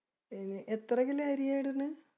ഏർ എത്ര kilo അരിയാ ഇടുന്നേ?